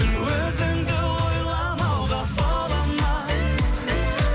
өзіңді ойламауға бола ма